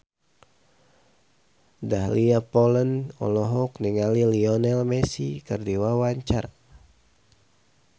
Dahlia Poland olohok ningali Lionel Messi keur diwawancara